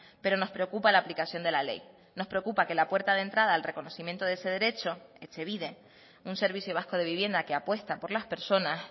pero nos preocupa la aplicación de la ley nos preocupa que la puerta de entrada al reconocimiento de ese derecho etxebide un servicio vasco de vivienda que apuesta por las personas